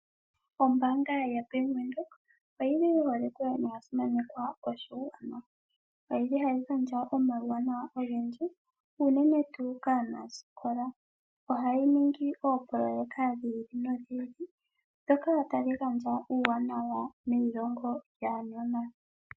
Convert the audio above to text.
Ombaanga yaBank Windhoek oyili yi holikwe noya simanekwa. Oshoka oyili hayi gandja omauwanawa ogendji unene tuu kaanasikola. Ohayi ningi oopololeka dhi ili nodhi ili ndhoka tadhi gandja uuwanawa meilongo lyaanona.